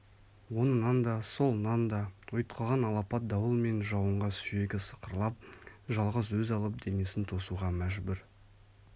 оңынан да солынан да ұйтқыған алапат дауыл мен жауынға сүйегі сықырлап жалғыз өз алып денесін тосуға мәжбүр